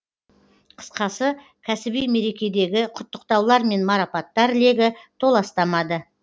қысқасы кәсіби мерекедегі құттықтаулар мен марапаттар легі толастамады